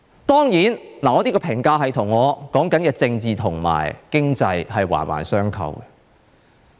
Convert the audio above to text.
當然，我這個評價是與我所說的政治及經濟，環環相扣。